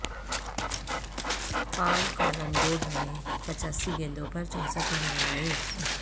پال Collingwood نے پچاسی گیندوں پر چونسٹھ رن بنائے